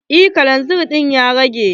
Eh kalanzir ɗin ya rage.